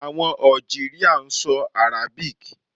Àwọn Algeria ń so Arabic